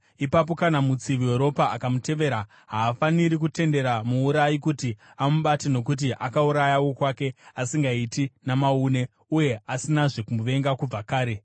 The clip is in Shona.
Ipapo kana mutsivi weropa akamutevera, havafaniri kutendera muurayi kuti amubate nokuti akauraya wokwake asingaiti namaune uye asinazve kumuvenga kubva kare.